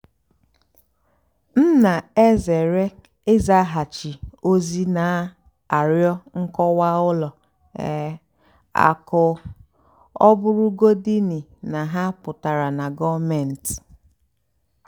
m nà-èzèré ị́zàgháchì ózì nà-àrịọ́ nkọ́wá ùlọ um àkụ́ ọ́ bụ́rụ́gódìní ná hà pụ́tárá nà gọ́ọ̀méntị́.